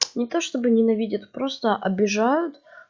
не то чтобы ненавидят просто обижают